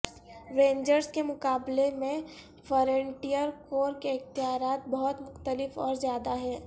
rangers کے مقابلے میں فرنٹئیر کور کے اختیارات بہت مختلف اور زیادہ ہیں